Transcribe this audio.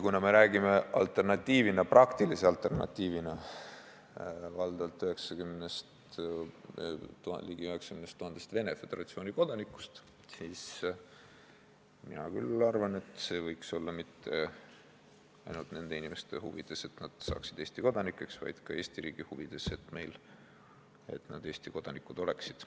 Kuna alternatiiviks, praktiliseks alternatiiviks, on valdavalt ligi 90 000 Venemaa Föderatsiooni kodanikku, siis mina küll arvan, et Eesti kodanikuks saamine poleks mitte ainult nende inimeste huvides, vaid see oleks ka Eesti riigi huvides, et nad Eesti kodanikud oleksid.